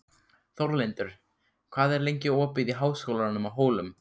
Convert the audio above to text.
Þórlindur, hvað er lengi opið í Háskólanum á Hólum?